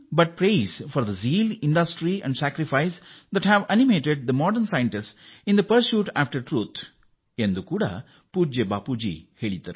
ಪೂಜ್ಯ ಬಾಪೂ ಅವರು ಉತ್ಸಾಹಉದ್ಯಮ ಮತ್ತು ತ್ಯಾಗವನ್ನು ಪ್ರಶಂಸಿಸುವುದನ್ನು ಬಿಟ್ಟು ನನಗೆ ಬೇರೆ ಇಲ್ಲ ಸತ್ಯದ ನಂತರದ ಅನ್ವೇಷಣೆಯಲ್ಲಿ ಆಧುನಿಕ ವಿಜ್ಞಾನಿಗಳನ್ನು ಅದು ಹುರಿದುಂಬಿಸಿದೆ ಎಂದೂ ಹೇಳಿದ್ದಾರೆ